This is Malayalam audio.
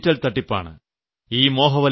ഇത് ഡിജിറ്റൽ തട്ടിപ്പാണ്